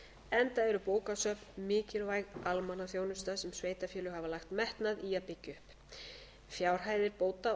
enda eru bókasöfn mikilvæg almannaþjónusta sem sveitarfélög hafa lagt metnað í að byggja upp fjárhæðir bóta og